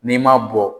N'i ma bɔ